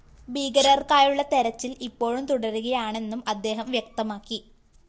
ഭീകരര്‍ക്കായുള്ള തെരച്ചില്‍ ഇപ്പോഴും തുടരുകയാണെന്നും അദ്ദേഹം വ്യക്തമാക്കി